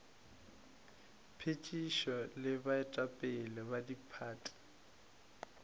phethišo le baetapele ba diphathi